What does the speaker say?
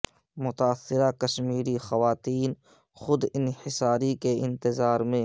متاثرہ کمشمیری خواتین خود انحصاری کے انتظار میں